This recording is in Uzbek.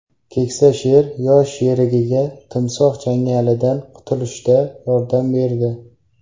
Keksa sher yosh sherigiga timsoh changalidan qutulishda yordam berdi .